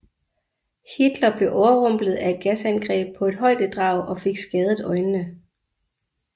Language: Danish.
Hitler blev overrumplet af et gasangreb på et højdedrag og fik skadet øjnene